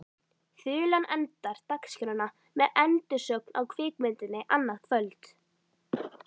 Þulan endar dagskrána með endursögn á kvikmyndinni annað kvöld.